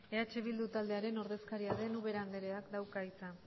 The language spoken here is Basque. eh bildu taldearen ordezkaria den ubera andereak dauka hitza